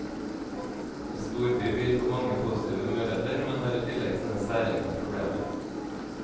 En storby byr på mange positive muligheter, men har i tillegg sine særegne problemer.